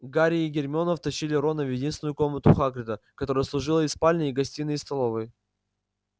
гарри и гермиона втащили рона в единственную комнату хагрида которая служила и спальней и гостиной и столовой